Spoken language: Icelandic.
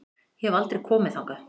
Ég hef aldrei komið þangað.